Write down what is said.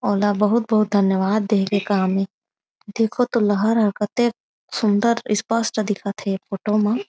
अउ ल बहुत-बहुत धन्यवाद दे के काम हे देखो तो केतेक सुन्दर इस्पस्ट दिखत हे फोटो म।